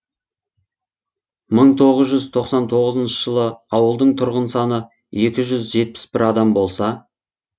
мың тоғыз жүз тоқсан тоғызыншы жылы ауылдың тұрғын саны екі жүз жетпіс адам болса